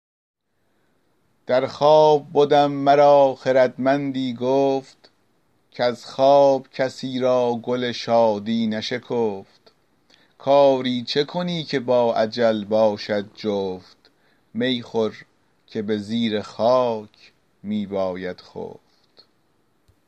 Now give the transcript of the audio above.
در خواب بدم مرا خردمندی گفت کز خواب کسی را گل شادی نشکفت کاری چه کنی که با اجل باشد جفت می خور که به زیر خاک می باید خفت